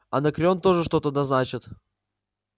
анакреон тоже что-то да значит